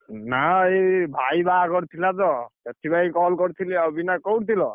ନା ଏଇ ଭାଇ ବାହାଘର ଥିଲା ତ ସେଥିଲାଗି call କରିଥିଲି ଆଉ, ବିନାୟକ କୋଉଠି ଥିଲ?